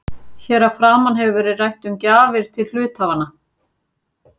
Hér að framan hefur verið rætt um gjafir til hluthafanna.